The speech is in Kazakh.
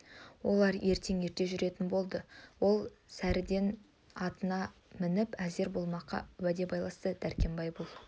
олар ертең ерте жүретін болды ол таң сәріден атына мініп әзір болмаққа уәде байласты дәркембай бұл